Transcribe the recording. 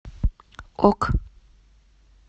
ок